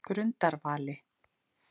Grundarvali